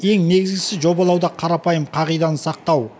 ең негізгісі жобалауда қарапайым қағиданы сақтау